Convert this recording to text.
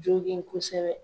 Jogin kosɛbɛ.